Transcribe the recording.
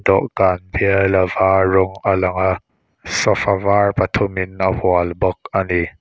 dawhkan bial a var rawng a lang a sofa var pathumin a hual bawk a ni.